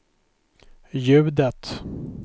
ljudet